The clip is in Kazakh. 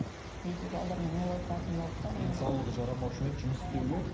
үйде ол отыратын болды да денсаулығы жарамаушы ма еді жұмыс істеуге